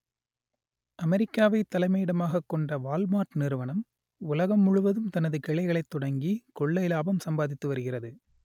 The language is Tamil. அமெரிக்காவை தலைமையிடமாக கொண்ட வால்மார்ட் நிறுவனம் உலகம் முழுவதும் தனது கிளைகளை தொடங்கி கொள்ளை லாபம் சம்பாதித்து வருகிறது